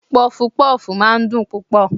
Pọfupọ́fù máa ń dùn púpọ̀.